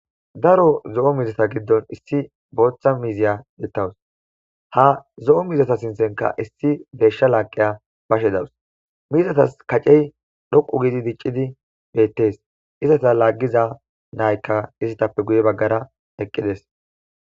Daro zo'o mizeta giddon issi booththa miiziya dettawus ha zo'o mizeta sinthenka issi beeshsha laaqiya bashe dawus miizatas kacey dhoqu gidi diccidi bettes izasa laaggiza naykka isitappe guye baggara eqqides.